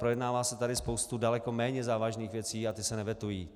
Projednává se tady spousta daleko méně závažných věcí a ty se nevetují.